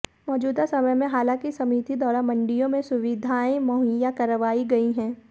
मौजूदा समय में हालांकि समिति द्वारा मंडियों में सुविधाएं मुहैया करवाई गई हंै